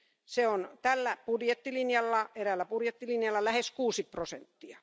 Se on tällä budjettilinjalla, eräällä budjettilinjalla lähes 6 prosenttia.